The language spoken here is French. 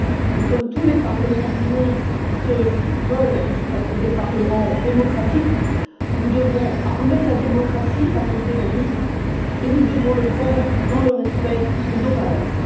Et, comme tous les parlements du monde qui se veulent démocratiques, nous devons armer la démocratie face aux terroristes et nous devons le faire dans le respect de nos valeurs.